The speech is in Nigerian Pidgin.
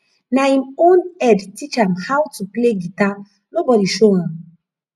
na him own head teach am how to play guitar nobody show am